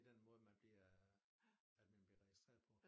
Den måde man bliver at man bliver registreret på